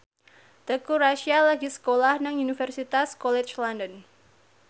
Teuku Rassya lagi sekolah nang Universitas College London